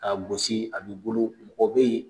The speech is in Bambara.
Ka gosi a be bolo mɔgɔ be yen.